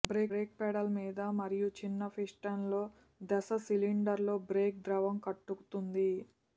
break pedal మీద మరియు చిన్న పిస్టన్లో దశ సిలిండర్లో బ్రేక్ ద్రవం కట్టుతుంది